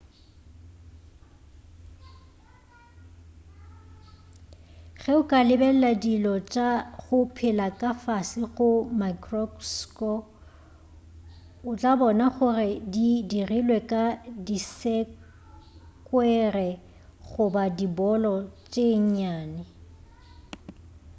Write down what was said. ge o ka lebelela dilo tša go phela ka fase ga maekrosko o tla bona gore di dirilwe ka disekwere goba dibolo tše nnyane